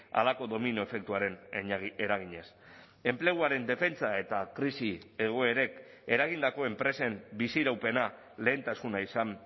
halako domino efektuaren eraginez enpleguaren defentsa eta krisi egoerek eragindako enpresen biziraupena lehentasuna izan